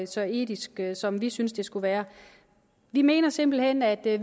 så etiske som vi synes de skulle være vi mener simpelt hen at det